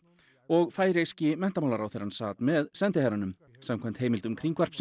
og færeyski menntamálaráðherrann sat með sendiherranum samkvæmt heimildum